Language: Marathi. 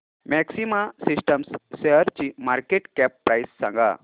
मॅक्सिमा सिस्टम्स शेअरची मार्केट कॅप प्राइस सांगा